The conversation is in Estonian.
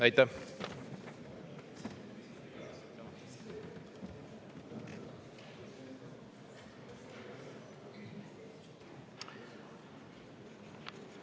Aitäh!